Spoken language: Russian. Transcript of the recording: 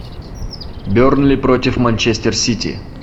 бернли против манчестер сити